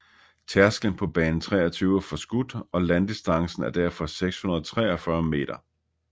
Tærsklen på bane 23 er forskudt og landdistancen er derfor 643 meter